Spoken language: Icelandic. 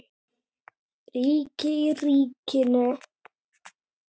Ríki í ríkinu?